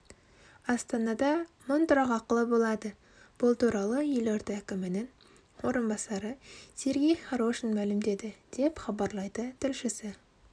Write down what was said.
астанада мың тұрақ ақылы болады бұл туралы елорда әкімінің орынбасары сергей хорошун мәлімдеді деп хабарлайды тілшісі